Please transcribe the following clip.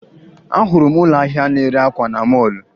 Ahụrụ m ụlọ ahịa na-ere akwa na mọọlụ